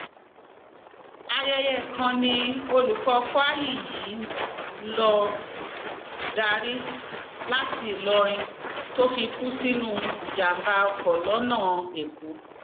ayẹyẹ kan ni olùkọ kwayi yìí ń lọọ darí láti ìlọrin tó fi kú sínú ìjàmàbá ọkọ lọnà èkó